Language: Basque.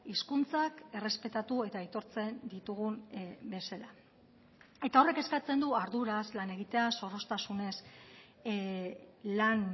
hizkuntzak errespetatu eta aitortzen ditugun bezala eta horrek eskatzen du arduraz lan egitea zorroztasunez lan